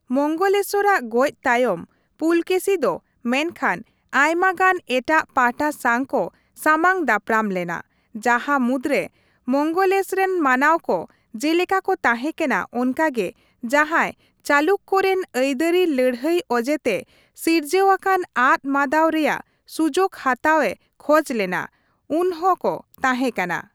ᱢᱚᱝᱜᱚᱞᱮᱥᱚᱨᱼᱟᱜ ᱜᱚᱡᱽ ᱛᱟᱭᱚᱢ, ᱯᱩᱞᱚᱠᱮᱥᱤ ᱫᱚ ᱢᱮᱱᱠᱷᱟᱱ ᱟᱭᱢᱟ ᱜᱟᱱ ᱮᱴᱟᱜ ᱯᱟᱦᱚᱴᱟ ᱥᱟᱝ ᱠᱚ ᱥᱟᱢᱟᱝ ᱫᱟᱯᱚᱨᱟᱢ ᱞᱮᱱᱟ, ᱡᱟᱦᱟ ᱢᱩᱫᱽᱨᱮ ᱢᱚᱝᱜᱮᱞᱮᱥᱨᱮᱱ ᱢᱟᱱᱟᱣ ᱠᱚ ᱡᱮᱞᱮᱠᱟ ᱠᱚ ᱛᱟᱦᱮᱸᱠᱟᱱᱟ ᱚᱱᱠᱟ ᱜᱮ ᱡᱟᱸᱦᱟᱭ ᱪᱟᱞᱩᱠᱠᱚ ᱨᱮᱱ ᱟᱹᱭᱫᱟᱹᱨᱤ ᱞᱟᱹᱲᱦᱟᱹᱭ ᱚᱡᱮᱛᱮ ᱥᱤᱨᱡᱟᱹᱣ ᱟᱠᱟᱱ ᱟᱫ ᱢᱟᱫᱟᱣ ᱨᱮᱭᱟᱜ ᱥᱩᱡᱳᱜ ᱦᱟᱛᱟᱣᱮ ᱠᱷᱚᱡ ᱞᱮᱱᱟ, ᱩᱱᱦᱚᱸ ᱠᱚ ᱛᱟᱦᱮᱸᱠᱟᱱᱟ ᱾